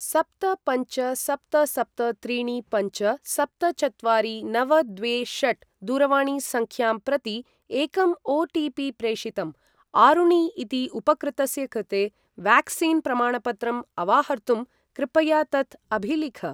सप्त पञ्च सप्त सप्त त्रीणि पञ्च सप्त चत्वारि नव द्वे षट् दूरवाणीसङ्ख्यां प्रति एकम् ओ.टि.पि. प्रेषितम्। आरुणि इति उपकृतस्य कृते व्याक्सीन् प्रमाणपत्रम् अवाहर्तुं कृपया तत् अभिलिख।